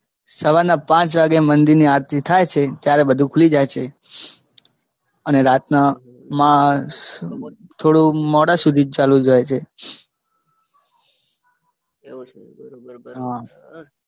સવારના પાંચ વાગે મંદિરની આરતી થાય છે ત્યારે બધું ખૂલી છે અને રાતના થોડુ મોડા સુધી ચાલુ રે છે.